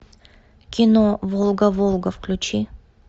кино волга волга включи